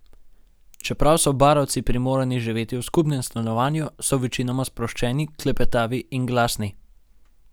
Čeprav so barovci primorani živeti v skupnem stanovanju, so večinoma sproščeni, klepetavi in glasni.